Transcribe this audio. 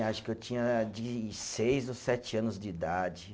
Acho que eu tinha de seis ou sete anos de idade.